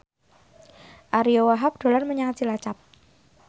Ariyo Wahab dolan menyang Cilacap